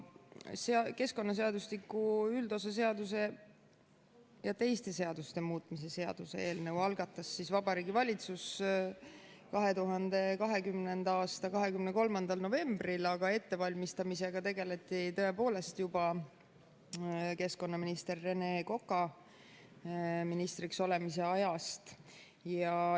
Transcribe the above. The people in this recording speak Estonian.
Keskkonnaseadustiku üldosa seaduse ja teiste seaduste muutmise seaduse eelnõu algatas Vabariigi Valitsus 2020. aasta 23. novembril, aga ettevalmistamisega tegeleti tõepoolest juba Rene Koka keskkonnaministriks olemise ajal.